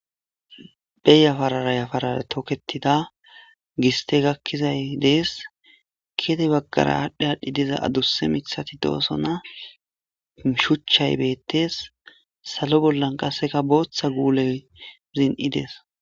be yafarara yafarara toketida giste gakkizay dees kede baggara aadhdhi aadhdhi diza adusse mithati doosona shuchchay beettes salo bollan qasseka booththa guuley zin'idees